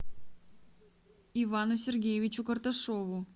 ивану сергеевичу карташову